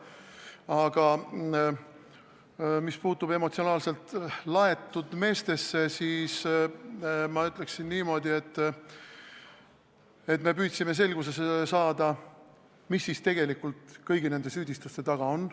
Aga mis puutub emotsionaalselt laetud meestesse, siis ma ütleksin niimoodi, et me püüdsime selgust saada, mis tegelikult kõigi nende süüdistuste taga on.